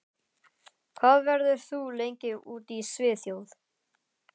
Hvað verður þú lengi úti í Svíþjóð?